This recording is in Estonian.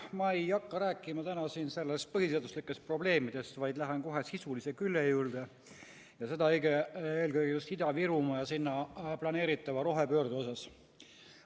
Ma ei hakka rääkima täna siin põhiseaduslikest probleemidest, vaid lähen kohe sisulise külje juurde, eelkõige Ida-Virumaa ja seal planeeritava rohepöörde juurde.